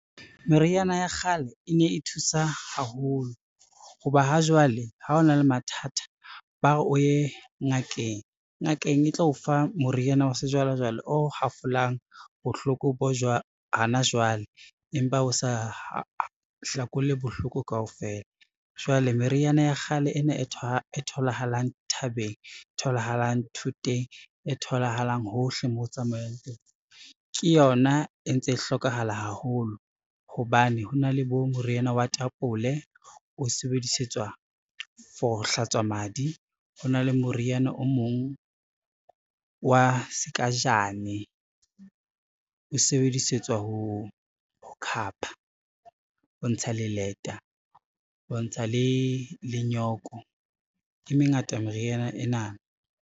Meriana ya kgale e ne e thusa haholo ho ba ha jwale, ha o na le mathatha, ba re o ye ngakeng. Ngakeng e tlo o fa moriana wa sejwalejwale o hafolwang bohloko hona jwale, empa o sa hlakole bohloko kaofela. Jwale meriana ya kgale ena e tholahalang thabeng, tholahalang thoteng e tholahalang hohle moo o tsamayang teng, ke yona e ntse e hlokahala haholo hobane ho na le bo moriana wa tapole o sebedisetswa for ho hlatswa madi, ho na le moriana o mong wa sekajane o sebedisetswa ho khapha, ho ntsha le leta, ho ntsha le nyoko, e mengata meriana ena.